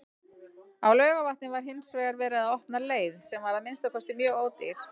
Á Laugarvatni var hinsvegar verið að opna leið, sem var að minnsta kosti mjög ódýr.